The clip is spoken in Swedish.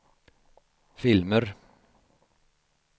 filmer